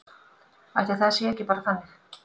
Ætli það sé ekki bara þannig.